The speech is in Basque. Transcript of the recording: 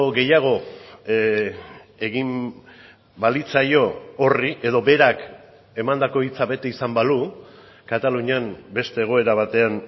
gehiago egin balitzaio horri edo berak emandako hitza bete izan balu katalunian beste egoera batean